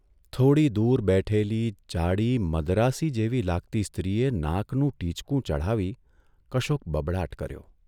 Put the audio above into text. થોડી દૂર બેઠેલી જાડી, મદ્રાસી જેવી લાગતી સ્ત્રીએ નાકનું ટીચકું ચઢાવી કશોક બબડાટ કર્યો.